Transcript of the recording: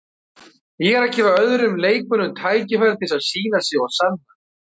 Ég er að gefa öðrum leikmönnum tækifæri til þess að sýna sig og sanna.